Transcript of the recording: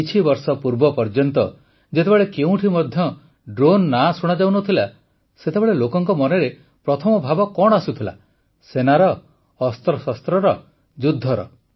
କିଛିବର୍ଷ ପୂର୍ବ ପର୍ଯ୍ୟନ୍ତ ଯେତେବେଳେ କେଉଁଠି ମଧ୍ୟ ଡ୍ରୋନ ନାଁ ଶୁଣାଯାଉନଥିଲା ସେତେବେଳେ ଲୋକଙ୍କ ମନରେ ପ୍ରଥମ ଭାବ କଣ ଆସୁଥିଲା ସେନାର ଅସ୍ତ୍ରଶସ୍ତ୍ରର ଯୁଦ୍ଧର